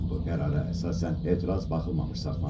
Qərara əsasən etiraz baxılmamış saxlanıldı.